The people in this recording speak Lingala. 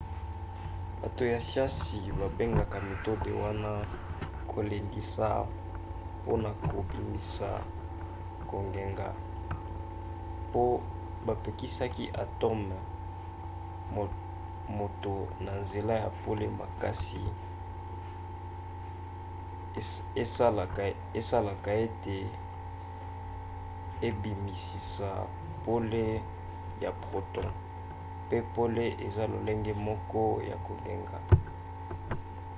bato ya siansi babengaka metode wana kolendisa mpona kobimisa kongenga po bapesaki atome moto na nzela ya pole makasi esalaka ete ebimisisa pole ya photon pe pole eza lolenge moko ya kongenga